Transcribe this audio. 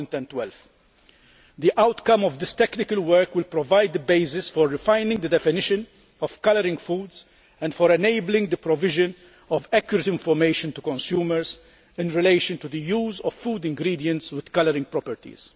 of 2012. The outcome of this technical work will provide the basis for refining the definition of food colouring and for enabling the provision of accurate information to consumers in relation to the use of food ingredients with colouring properties.